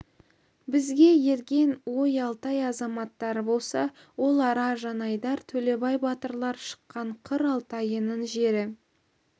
бізге ерген ой алтай азаматтары болса ол ара жанайдар төлебай батырлар шыққан қыр алтайының жері